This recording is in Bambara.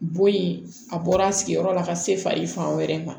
Bɔ in a bɔra a sigiyɔrɔ la ka se fa i fan wɛrɛ ma